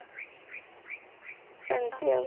ସେମତି ଆଉ